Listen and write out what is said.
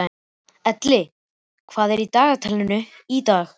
Elli, hvað er í dagatalinu í dag?